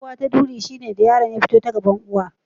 Aifuwa ta duri shine lokacin da yaron ya fito ta gaban uwar.